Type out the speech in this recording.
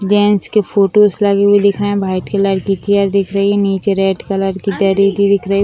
gents के photos लगे हुई दिख रहे हैं वाइट कलर की चेयर दिख रही है नीचे रेड कलर की दिख रही --